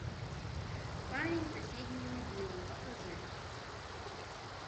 парень с соседней могилы покажи